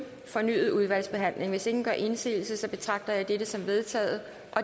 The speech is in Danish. fornyet udvalgsbehandling hvis ingen gør indsigelse betragter jeg dette som vedtaget